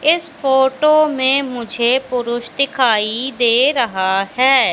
इस फोटो में मुझे पुरुष दिखाई दे रहा हैं।